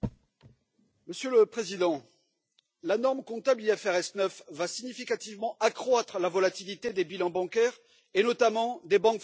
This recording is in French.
Monsieur le Président, la norme comptable IFRS 9 va significativement accroître la volatilité des bilans bancaires, et notamment des banques françaises.